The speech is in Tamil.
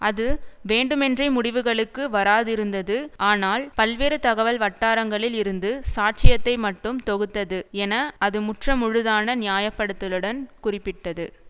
அது வேண்டுமென்றே முடிவுகளுக்கு வராதிருந்தது ஆனால் பல்வேறு தகவல் வட்டாரங்களில் இருந்து சாட்சியத்தை மட்டும் தொகுத்தது என அது முற்ற முழுதான நியாயப்படுத்தலுடன் குறிப்பிட்டது